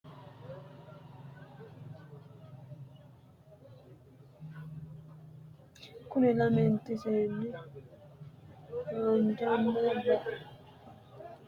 Kuri lament seenni haanjanna baxissanno baattora uurritewuri mitte hawashu uddano udidhino. mitte kayin sidaamu budu udunne udidhe illete manantsire wodhitinno.